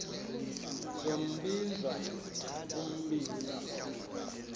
sombinza umbinza lo